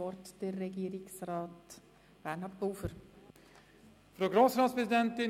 Somit hat Regierungsrat Bernhard Pulver das Wort.